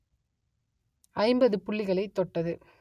ஐம்பது புள்ளிகளை தொட்டது